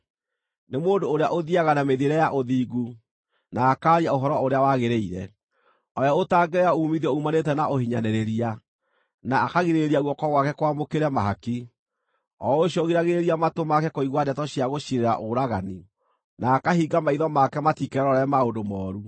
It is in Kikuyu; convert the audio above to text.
Nĩ mũndũ ũrĩa ũthiiaga na mĩthiĩre ya ũthingu na akaaria ũhoro ũrĩa wagĩrĩire, o we ũtangĩoya uumithio uumanĩte na ũhinyanĩrĩria, na akagirĩrĩria guoko gwake kwamũkĩre mahaki, o ũcio ũgiragĩrĩria matũ make kũigua ndeto cia gũciirĩra ũragani, na akahinga maitho make matikerorere maũndũ mooru.